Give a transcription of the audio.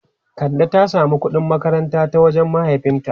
Kande ta samu kudin makaranta daga wajen mahaifinta.